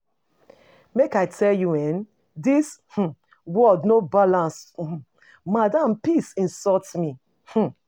Make I tell you eh, dis um world no balance. um Madam peace insult me. um